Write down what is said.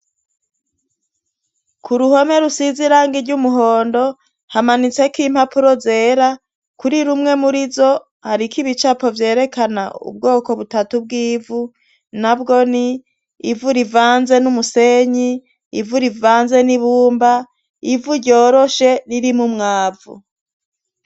Ku ruhome rusize iranga ry' umuhondo hamanitseko impapuro zera kuri rumwe muri zo hariko ibicapo vyerekana ubwoko butatu bw'ivu na bwo ni ivura ivanze n'umusenyi ivura ivanze n'ibumba ivu ryoroshe ririmo mwabu vo.